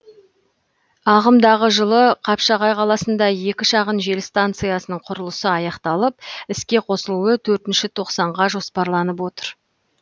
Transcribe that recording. ағымдағы жылы қапшағай қаласында екі шағын жел станциясының құрылысы аяқталып іске қосылуы төртінші тоқсанға жоспарланып отыр